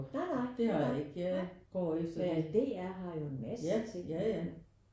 Nej nej. Nej nej nej men DR har jo en masse ting